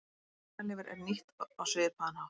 Svínalifur er nýtt á svipaðan hátt.